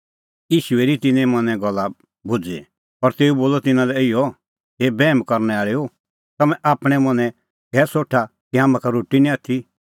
ईशू हेरी तिन्नें मनें गल्ल भुझ़ी और तेऊ बोलअ तिन्नां लै इहअ हे बैहम करनै आल़ैओ तम्हैं आपणैं मनैं कै सोठा कि हाम्हां का रोटी निं आथी